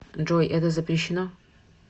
джой это запрещено